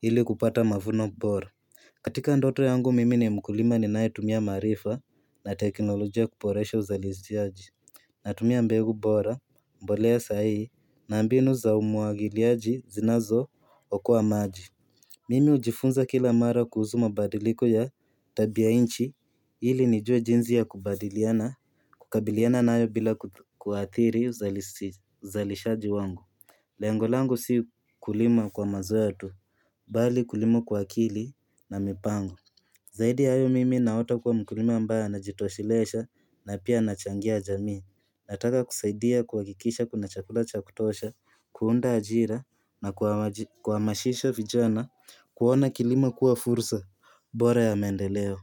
ili kupata mavuno bora. Katika ndoto yangu mimi ni mkulima ninayetumia maarifa na teknolojia kuboresha uzalishaji Natumia mbegu bora, mbolea sahihi na mbinu za umwagiliaji zinazookoa maji Mimi hujifunza kila mara kuhusu mabadiliko ya tabia nchi, ili nijue jinsi ya kubadiliana kukabiliana nayo bila kuathiri uzalishaji wangu Lengo langu si kulima kwa mazoea tu, bali kulima kwa akili na mipango Zaidi ya hayo mimi naota kuwa mkulima ambaye anajitoshelesha na pia anachangia jamii. Nataka kusaidia kuhakikisha kuna chakula cha kutosha, kuunda ajira na kuhamashisha vijana kuona kilimo kuwa fursa bora ya maendeleo.